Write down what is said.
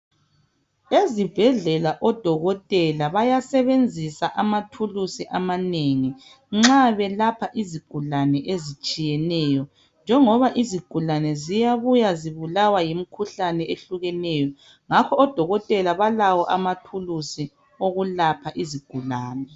Ezibhedlela odokotela bayasebenzisa amathulusi amanengi nxa belapha izigulane ezitshiyeneyo njengoba izigulane ziyabuya zibulawa yimikhuhlane ehlukeneyo ngakho odokotela balawo amathulusi okwelapha izigulane.